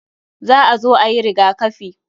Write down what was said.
Za a zo ayi rigakafi.